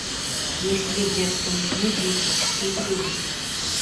есть ли в детском меню диетические блюда